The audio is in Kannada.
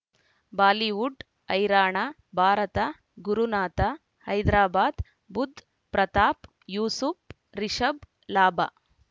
ಬಾಲಿವುಡ್ ಹೈರಾಣ ಭಾರತ ಗುರುನಾಥ ಹೈದರಾಬಾದ್ ಬುಧ್ ಪ್ರತಾಪ್ ಯೂಸುಫ್ ರಿಷಬ್ ಲಾಭ